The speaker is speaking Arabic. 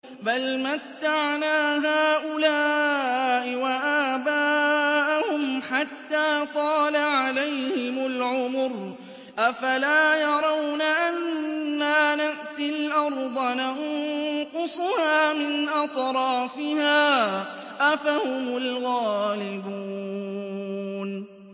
بَلْ مَتَّعْنَا هَٰؤُلَاءِ وَآبَاءَهُمْ حَتَّىٰ طَالَ عَلَيْهِمُ الْعُمُرُ ۗ أَفَلَا يَرَوْنَ أَنَّا نَأْتِي الْأَرْضَ نَنقُصُهَا مِنْ أَطْرَافِهَا ۚ أَفَهُمُ الْغَالِبُونَ